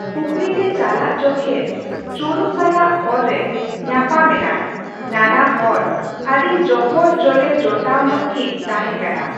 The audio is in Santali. ᱯᱩᱠᱷᱨᱤ ᱛᱮ ᱪᱟᱞᱟᱜ ᱡᱚᱠᱷᱮᱫ ᱪᱳᱨᱩ ᱥᱟᱞᱟᱜ ᱦᱚᱨ ᱨᱮ ᱧᱟᱯᱟᱢ ᱮᱱᱟᱭ ᱾ᱱᱟᱱᱟᱦᱚᱲ ᱟᱰᱤ ᱡᱚᱯᱚᱨ ᱡᱚᱞᱮ ᱡᱚᱴᱟᱣ ᱧᱚᱜ ᱠᱤᱱ ᱛᱟᱦᱮᱸᱠᱟᱱᱟ ᱾